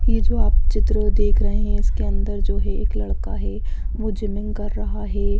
ये जो आप चित्र देख रहे हैं इसके अंदर जो है एक लड़का है वो जिमिंग कर रहा है।